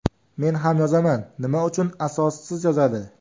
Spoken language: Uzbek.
Men ham yozaman, nima uchun asossiz yozadi?